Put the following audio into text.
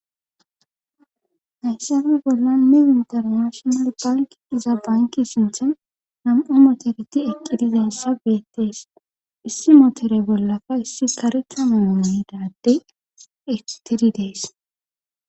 Hayssafe bolla ne internashional bank iza banki sinthan nam'u motoreti eqqidizen sabeetees issi motore bollafa issi karekamana miidade itiri dees.